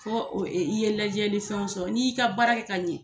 I ye ladiyalifɛnw sɔrɔ n'i y'i ka baara kɛ ka ɲɛ